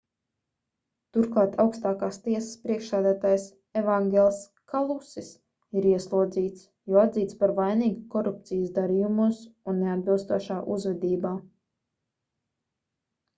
turklāt augstākās tiesas priekšsēdētājs evangels kalusis ir ieslodzīts jo atzīts par vainīgu korupcijas darījumos un neatbilstošā uzvedībā